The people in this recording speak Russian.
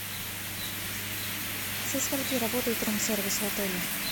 со скольки работает рум сервис в отеле